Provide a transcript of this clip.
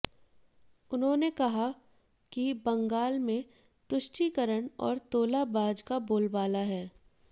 उन्होंने कहा कि बंगाल में तुष्टिकरण और तोलाबाज का बोलबाला है